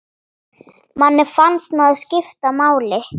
Manni fannst maður skipta máli.